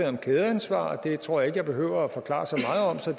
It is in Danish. om kædeansvar det tror jeg jeg behøver at forklare så meget om så